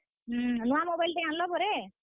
ହୁଁ, ନୁଆଁ mobile ଟେ ଆନ୍ ଲ ପରେ?